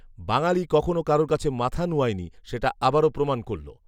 বাঙ্গালী কখনও কারও কাছে মাথা নুয়ায়নি সেটা আবারও প্রমাণ করল